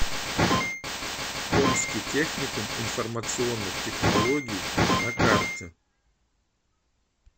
томский техникум информационных технологий на карте